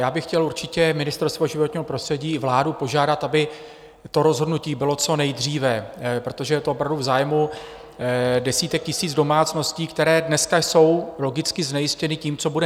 Já bych chtěl určitě Ministerstvo životního prostředí i vládu požádat, aby to rozhodnutí bylo co nejdříve, protože je to opravdu v zájmu desítek tisíc domácností, které dneska jsou logicky znejistěny tím, co bude.